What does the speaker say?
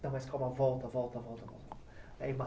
Não, mas calma, volta, volta, volta.